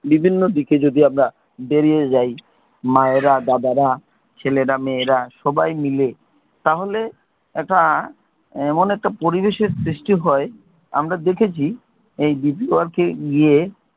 বিভিন্ন দিকে যদি আমরা বেরিয়ে যাই, মায়েরা দাদারা ছেলেরা মেয়েরা সবাই মিলে, তাহলে এটা এমন একটা পরিবেশের সৃষ্টি হয় আমরা দেখেছি এই deepwork এ গিয়ে,